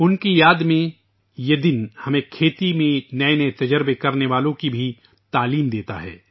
ان کی یاد میں یہ دن ہمیں زراعت میں نئے تجربات کرنے والوں کے بارے میں بھی سکھاتا ہے